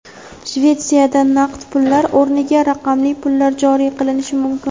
Shvetsiyada naqd pullar o‘rniga raqamli pullar joriy qilinishi mumkin.